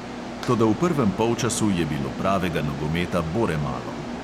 Toda v prvem polčasu je bilo pravega nogometa bore malo.